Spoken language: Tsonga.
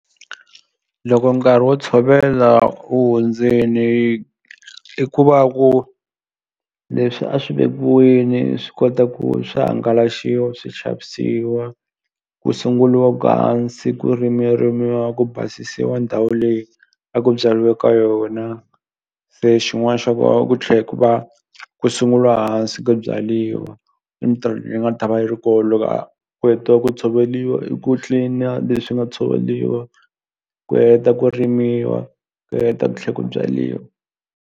Loko nkarhi wo tshovela wu hundzini i ku va ku leswi a swi vekiwini swi kota ku swi hangalaxiwa swi xavisiwa ku sunguliwaku hansi ku rimiwa ku basisiwa ndhawu leyi a ku byariwe ka yona se xin'wani xa ko a ku tlhe ku va ku sunguliwa hansi ku byariwa i mitirho leyi nga ta va yi ri ko loko ku hetiwe ku tshoveliwa i ku clean-iwa leswi nga tshoveliwa ku heta ku rimiwa ku heta ku tlhe ku byaliwa.